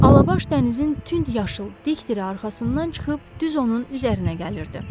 Alabaş dənizin tünd yaşıl dik dili arxasından çıxıb düz onun üzərinə gəlirdi.